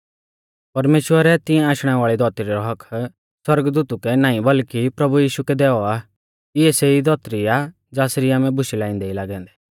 परमेश्‍वरै तिंया आशणै वाल़ी धौतरी रौ हक्क्क सौरगदूतु कै नाईं बल्कि प्रभु यीशु कै दैऔ आ इऐ सेई धौतरी आ ज़ासरी आमै बुशै लाइंदै ई लागै औन्दै